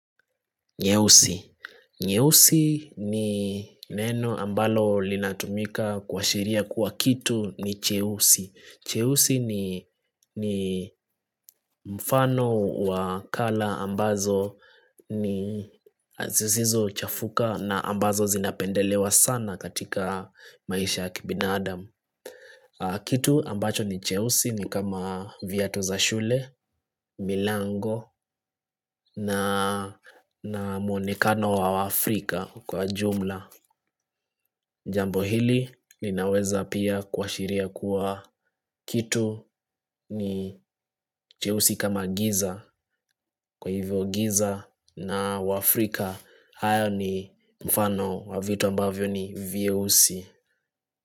Nyeusi. Nyeusi ni neno ambalo linatumika kuashiria kuwa kitu ni cheusi. Cheusi ni mfano wa kala ambazo ni zizizochafuka na ambazo zinapendelewa sana katika maisha kibinadam. Kitu ambacho ni cheusi ni kama viatu za shule, milango na muonikano waafrika kwa jumla. Jambo hili linaweza pia kwa shiria kuwa kitu ni cheusi kama giza kwa hivyo giza na waafrika hayo ni mfano wa vitu ambavyo ni vyeusi.